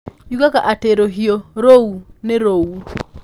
Yugaga atĩ rũhiũ rũu nĩ rũu.